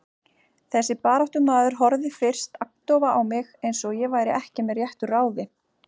Þessi baráttumaður horfði fyrst agndofa á mig, eins og ég væri ekki með réttu ráði.